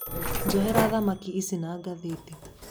Njohera thamaki ici na ngathĩti.